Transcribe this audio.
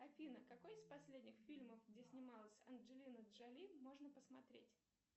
афина какой из последних фильмов где снималась анджелина джоли можно посмотреть